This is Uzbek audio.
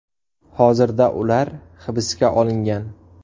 Hozirda ular hibsga olingan.